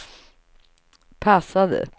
passade